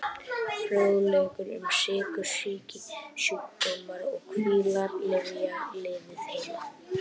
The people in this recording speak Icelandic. Fróðleikur um sykursýki Sjúkdómar og kvillar Lyfja- Lifið heil.